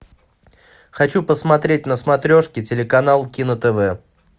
хочу посмотреть на смотрешке телеканал кино тв